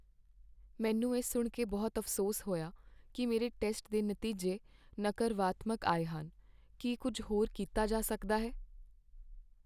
ਮੈਨੂੰ ਇਹ ਸੁਣ ਕੇ ਬਹੁਤ ਅਫ਼ਸੋਸ ਹੋਇਆ ਕੀ ਮੇਰੇ ਟੈਸਟ ਦੇ ਨਤੀਜੇ ਨਕਰਵਾਤਮਕ ਆਏ ਹਨ। ਕੀ ਕੁੱਝ ਹੋਰ ਕੀਤਾ ਜਾ ਸਕਦਾ ਹੈ?